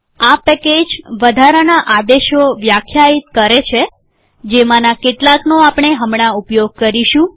આ પેકેજ વધારાનાં આદેશો વ્યાખ્યાયિત કરે છે જેમાંના કેટલાકનો આપણે હમણાં ઉપયોગ કરીશું